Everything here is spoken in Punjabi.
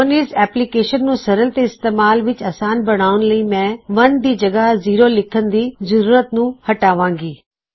ਹੁਣ ਇਸ ਐਪਲੀਕੇਸਨ ਨੂੰ ਸਰਲ ਤੇ ਇਸਤੇਮਾਲ ਵਿੱਚ ਆਸਾਨ ਬਣਾਉਨ ਲਈ ਮੈਂ 1 ਦੀ ਜਗਹ ਜੀਰੋ ਲਿੱਖਨ ਦੀ ਜ਼ਰੂਰਤ ਨੂੰ ਹਟਾਵਾਂ ਗੀ